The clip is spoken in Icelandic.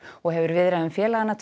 og hefur viðræðum félaganna